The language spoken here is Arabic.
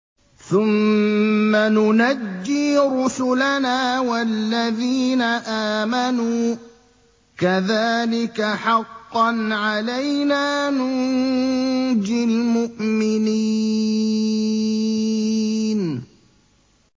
ثُمَّ نُنَجِّي رُسُلَنَا وَالَّذِينَ آمَنُوا ۚ كَذَٰلِكَ حَقًّا عَلَيْنَا نُنجِ الْمُؤْمِنِينَ